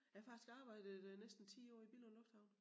Jeg har faktisk arbejdet øh næsten 10 år i Billund Lufthavn